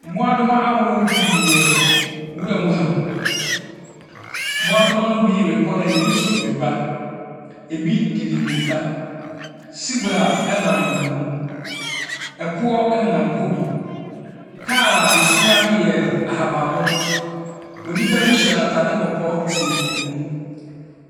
Mmoadoma ahorow pii wɔ nwura mu ha. Mmoadoma ne bi rekɔ na bi nso reba, bi dede mirika. Sibra nenam wɔn mu, koɔ nenam hɔ bi, kaar a ɛsi hɔ no yɛ ahabanmono, onipa bi hyɛ ataare kɔkɔɔ te mu.